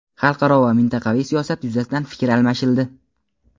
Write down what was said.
xalqaro va mintaqaviy siyosat yuzasidan fikr almashildi.